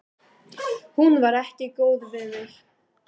Hún var ekki góð við mig.